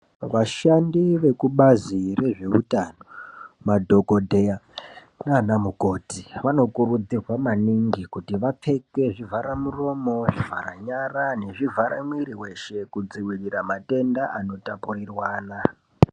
Vashandi vekubazi rezveutano madhokodheya naanamukoti vano kurudzirwa maningi kuti vapfeke zvivhara muromo, zvivharanyara nezvivhare muiri weshe kudzivirire matenda ano itapueirwana .